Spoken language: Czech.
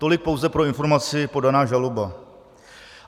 Tolik pouze pro informaci podaná žaloba.